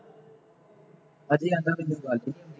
ਆਂਦਾ ਫੇਰ ਕੋਈ ਗੱਲ ਨਹੀਂ